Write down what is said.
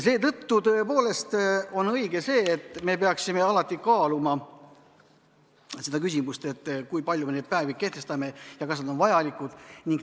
Seetõttu on õige, et me peaksime alati kaaluma seda küsimust, kui palju me neid päevi kehtestame ja kas nad on vajalikud.